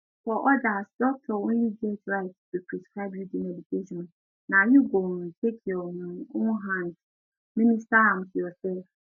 for odas doctor only get right to prescribe you di medication na you go um take your um own hand administer am to yourself